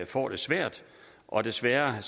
får det svært og desværre er